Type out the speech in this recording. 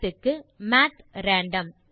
மாத் க்கு math random